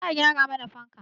Za a gyara mana fanka